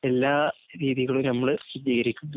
എല്ലാ രീതികളും നമ്മള്‍ സ്വീകരിക്കുന്നുണ്ട്.